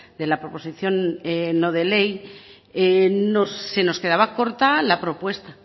de la proposición no de ley se nos quedaba corta la propuesta